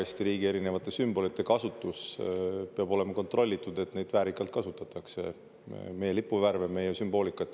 Eesti riigi erinevate sümbolite kasutus peab olema kontrollitud, et neid väärikalt kasutatakse – meie lipuvärve, meie sümboolikat.